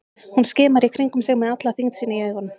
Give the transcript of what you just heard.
Hún skimar í kringum sig með alla þyngd sína í augunum.